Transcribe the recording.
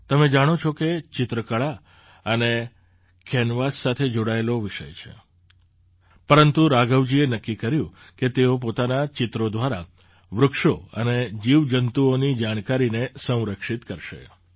તમે જાણો છો કે ચિત્ર કળા અને કેન્વાસ સાથે જોડાયેલો વિષય છે પરંતુ રાઘવજીએ નક્કી કર્યું કે તેઓ પોતાનાં ચિત્રો દ્વારા વૃક્ષો અને જીવજંતુઓની જાણકારીને સંરક્ષિત કરશે